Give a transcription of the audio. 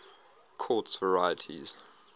quartz varieties